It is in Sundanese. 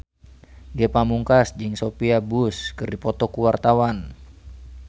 Ge Pamungkas jeung Sophia Bush keur dipoto ku wartawan